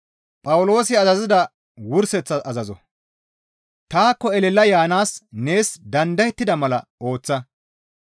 Taakko elela yaanaas nees dandayettida mala ooththa.